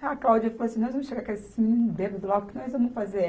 A Cláudia falou assim, nós vamos chegar com esse bêbado lá, o que nós vamos fazer?